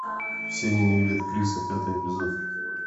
все ненавидят криса пятый эпизод